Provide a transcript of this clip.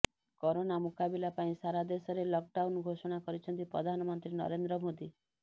corona ମୁକାବିଲା ପାଇଁ ସାରା ଦେଶରେ ଲକଡାଉନ୍ ଘୋଷଣା କରିଛନ୍ତି ପ୍ରଧାନମନ୍ତ୍ରୀ ନରେନ୍ଦ୍ର ମୋଦୀ